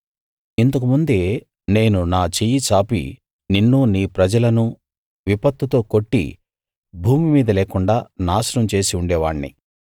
ఇంతకు ముందే నేను నా చెయ్యి చాపి నిన్నూ నీ ప్రజలనూ విపత్తుతో కొట్టి భూమి మీద లేకుండా నాశనం చేసి ఉండేవాణ్ణి